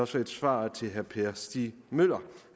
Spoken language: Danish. som svar til herre per stig møller